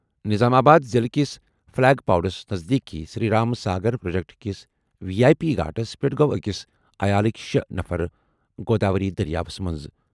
نظام آباد ضِلعہٕ کِس فلیگ پاڈوَس نزدیٖک سری رام ساگر پروجیکٹ کِس وی آٮٔی پی گھاٹَس پٮ۪ٹھ گوٚو أکِس عیالٕکۍ شےٚ نفر گوداوری دٔریاوَس منٛز۔